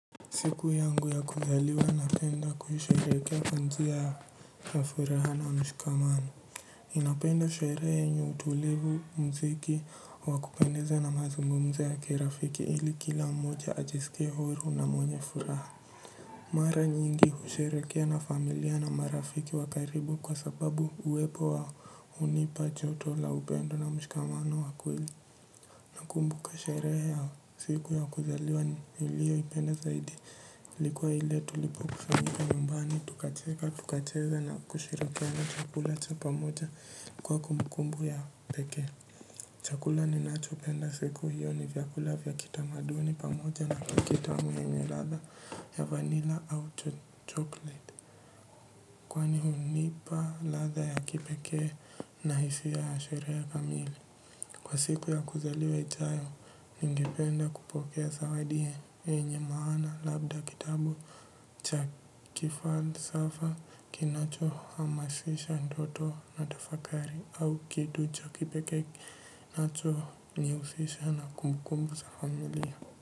Siku yangu ya kuzaliwa napenda kuisherehekea kwa njia na furaha na mshikamano ninapenda sherehe yenye utulivu mziki wa kupendeza na mazungumzo ya kirafiki ili kila mmoja ajisike huru na mwenye furaha. Mara nyingi husherehekea na familia na marafiki wa karibu kwa sababu uwepo wao unipa joto la upendo na mshikamano wa kweli. Nakumbuka sherehe ya siku ya kuzaliwa nilio ipenda zaidi. Ilikuwa ile tulipokusanyika nyumbani tukacheza na kushirakiana chakula cha pamoja kwa kumbukumbu ya pekee. Chakula ninacho penda siku hiyo ni vyakula vya kitamaduni pamoja na keki yenye latha ya vanilla au chocolate. Ni hunipa latha ya kipeke na hisia ya sherehe ya kamili. Kwa siku ya kuzaliwe oijayo, ningipenda kupokea zawadi yenye maana labda kitabu cha kifalsafa kinacho hamasisha ndoto na tafakari au kitu cha kipeke kinacho nihusisha na kumbukumbu za familia.